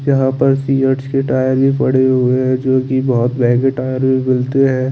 यहाँ पर फियार्ड्स टायर भी पड़े हुए है जोकि बहोत महगे टायर भी मिलते है।